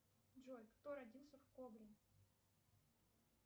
джой кто родился в кобрине